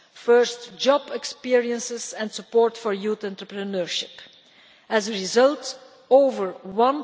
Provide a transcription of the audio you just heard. first job experiences and support for youth entrepreneurship. As a result, more than